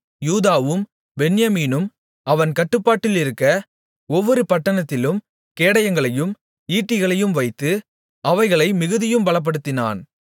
யூதாவும் பென்யமீனும் அவன் கட்டுப்பாட்டிலிருக்க ஒவ்வொரு பட்டணத்திலும் கேடயங்களையும் ஈட்டிகளையும் வைத்து அவைகளை மிகுதியும் பலப்படுத்தினான்